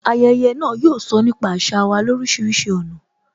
Ayẹyẹ náà, yóò sọ nípa àṣà wa lorisirisi ọ̀nà